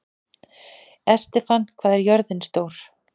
Estefan, hvað er jörðin stór?